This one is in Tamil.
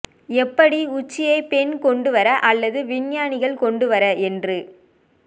எப்படி உச்சியை பெண் கொண்டுவர அல்லது விஞ்ஞானிகள் கொண்டு வர என்று